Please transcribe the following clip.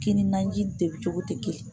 Kini naji de bɛ cogo tɛ kelen